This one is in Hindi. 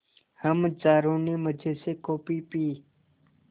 हम चारों ने मज़े से कॉफ़ी पी